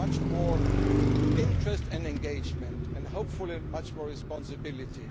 the European Council. They have much more interest and engagement and, hopefully, much